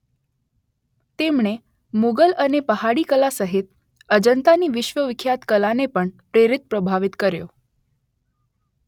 તેમણે મોગલ અને પહાડી કલા સહિત અજંતાની વિશ્વવિખ્યાત કલાને પણ પ્રેરિત પ્રભાવિત કર્યો.